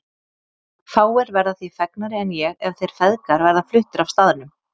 Fáir verða því fegnari en ég ef þeir feðgar verða fluttir af staðnum.